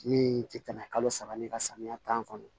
Min tɛ tɛmɛ kalo saba ni ka samiya tan kɔnɔ